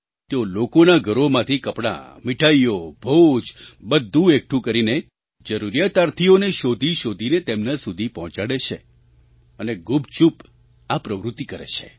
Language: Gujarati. તેઓ લોકોના ઘરોમાંથી કપડાં મીઠાઈઓ ભોજ બધું એકઠું કરીને જરૂરિયાતાર્થીઓને શોધી શોધીને તેમના સુધી પહોંચાડે છે અને ગુપચૂપ આ પ્રવૃત્તિ કરે છે